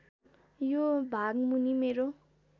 यो भागमुनि मेरो